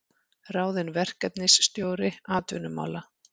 Ráðinn verkefnisstjóri atvinnumála